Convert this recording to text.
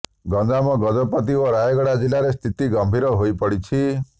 ଗଞ୍ଜାମ ଗଜପତି ଓ ରାୟଗଡ଼ା ଜିଲ୍ଲାରେ ସ୍ଥିତି ଗମ୍ଭୀର ହୋଇପଡ଼ିଛି